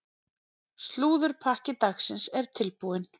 Slúðurpakki dagsins er tilbúinn.